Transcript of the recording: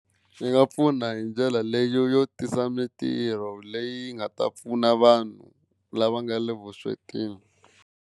Swi nga pfuna hi ndlela leyo yo tisa mintirho leyi nga ta pfuna vanhu lava nga le vuswetini.